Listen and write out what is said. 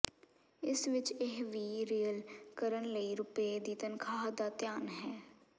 ਇਸ ਵਿਚ ਇਹ ਵੀ ਰੀਲੇਅ ਕਰਨ ਲਈ ਰੁਪਏ ਦੀ ਤਨਖਾਹ ਦਾ ਧਿਆਨ ਹੈ